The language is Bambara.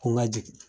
Ko n ka jigin